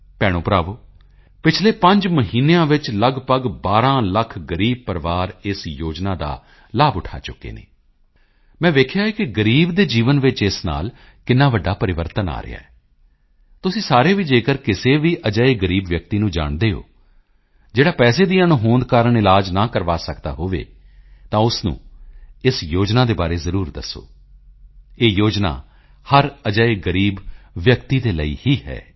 ਭੈਣੋਭਰਾਵੋ ਪਿਛਲੇ 5 ਮਹੀਨਿਆਂ ਵਿੱਚ ਲਗਭਗ 12 ਲੱਖ ਗ਼ਰੀਬ ਪਰਿਵਾਰ ਇਸ ਯੋਜਨਾ ਦਾ ਲਾਭ ਉਠਾ ਚੁੱਕੇ ਹਨ ਮੈਂ ਵੇਖਿਆ ਕਿ ਗ਼ਰੀਬ ਦੇ ਜੀਵਨ ਵਿੱਚ ਇਸ ਨਾਲ ਕਿੰਨਾ ਵੱਡਾ ਪਰਿਵਰਤਨ ਆ ਰਿਹਾ ਹੈ ਤੁਸੀਂ ਸਾਰੇ ਵੀ ਜੇਕਰ ਕਿਸੇ ਵੀ ਅਜਿਹੇ ਗ਼ਰੀਬ ਵਿਅਕਤੀ ਨੂੰ ਜਾਣਦੇ ਹੋ ਜਿਹੜਾ ਪੈਸੇ ਦੀ ਅਣਹੋਂਦ ਕਾਰਨ ਇਲਾਜ ਨਾ ਕਰਵਾ ਸਕਦਾ ਹੋਵੇ ਤਾਂ ਉਸ ਨੂੰ ਇਸ ਯੋਜਨਾ ਦੇ ਬਾਰੇ ਜ਼ਰੂਰ ਦੱਸੋ ਇਹ ਯੋਜਨਾ ਹਰ ਅਜਿਹੇ ਗ਼ਰੀਬ ਵਿਅਕਤੀ ਦੇ ਲਈ ਹੀ ਹੈ